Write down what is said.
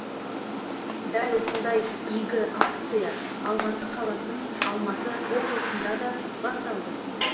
дәл осындай игі акция алматы қаласы мен алматы облысында да басталды